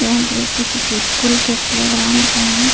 यह दृश्य किसी स्कूल के प्ले ग्राउंड का है।